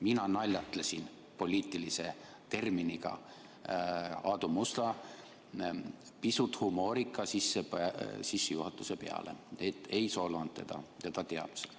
Mina naljatlesin poliitilise terminiga Aadu Musta pisut humoorika sissejuhatuse peale, ei solvanud teda, ja ta teab seda.